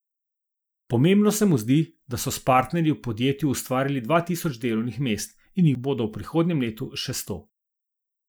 Pomembno se mu zdi, da so s partnerji v podjetju ustvarili dva tisoč delovnih mest in jih bodo v prihodnjem letu še sto.